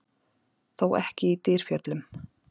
Þó ekki í Dyrfjöllum.